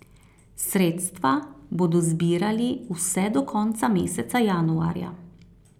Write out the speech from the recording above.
Sredstva bodo zbirali vse do konca meseca januarja.